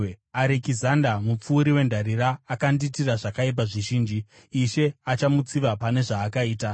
Arekizanda, mupfuri wendarira, akandiitira zvakaipa zvizhinji. Ishe achamutsiva pane zvaakaita.